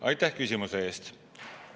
Aitäh küsimuse eest!